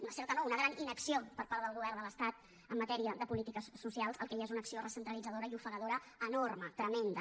una certa no una gran inacció per part del govern de l’estat en matèria de polítiques socials el que hi ha és una acció recentralitzadora i ofegadora enorme tremenda